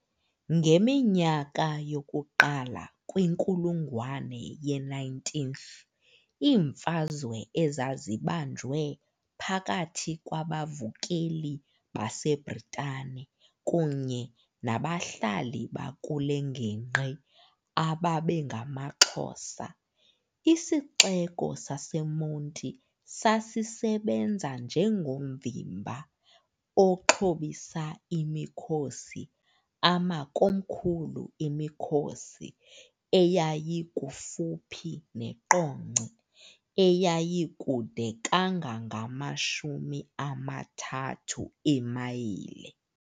Ngeminyaka yokuqala kwiNkulungwane ye-19th iimfazwe ezazibanjwe phakathi kwabavukeli baseBritane kunye nabahlali bakule ngingqi ababengamaXhosa, isixeko saseMonti sasisebenza njengovimba oxhobisa imikhosi amakomkhulu emikhosi eyayikufuphi neQonce, eyayikude kangangamashumi amathathu eemayile.